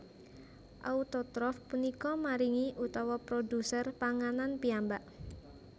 Autotrof punika maringi utawi produser panganan piyambak